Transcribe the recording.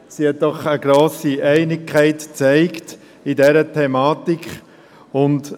Sie hat eine grosse Einigkeit in dieser Thematik gezeigt.